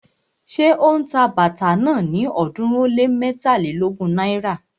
Ṣé ó ń ta bàtà náà ní ọ̀ọ́dúnrún ó lé mẹ́tàlélógún náírà?